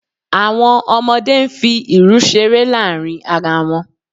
Àwọn ọmọdé ń fi irù ṣeré láàrin ara wọn